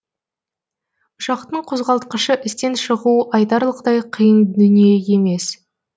ұшақтың қозғалтқышы істен шығуы айтарлықтай қиын дүние емес